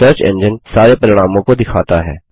search engine सारे परिणामों को दिखाता है